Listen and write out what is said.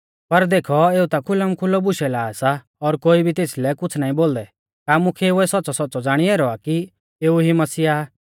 पर देखौ एऊ ता खुलमखुलौ बुशै ला सा और कोई भी तेसलै कुछ़ नाईं बोलदै का मुख्यैउऐ सौच़्च़ौसौच़्च़ौ ज़ाणी ऐरौ आ कि एऊ ई मसीह आ